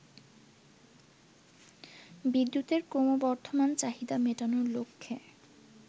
বিদ্যুতের ক্রমবর্ধমান চাহিদা মেটানোর লক্ষ্যে